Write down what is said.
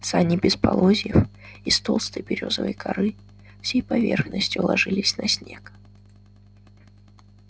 сани без полозьев из толстой берёзовой коры всей поверхностью ложились на снег